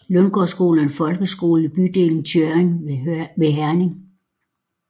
Lundgårdskolen er en folkeskole i bydelen Tjørring ved Herning